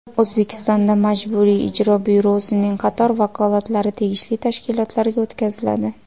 O‘zbekistonda Majburiy ijro byurosining qator vakolatlari tegishli tashkilotlarga o‘tkaziladi.